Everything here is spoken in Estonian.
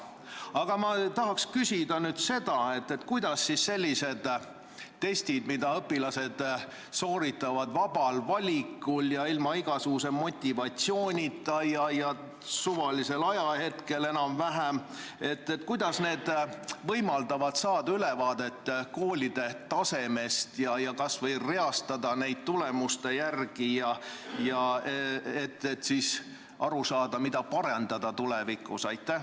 Aga ma tahaks küsida nüüd seda, et kuidas sellised testid, mida õpilased sooritavad vabal valikul, ilma igasuguse motivatsioonita ja enam-vähem suvalisel ajahetkel, võimaldavad saada ülevaadet koolide tasemest ja koole kas või tulemuste järgi reastada, et aru saada, mida tulevikus parandada.